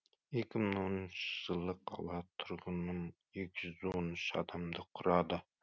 екі мың оныншы жылы қала тұрғынын екі жүз он үш адамды құрады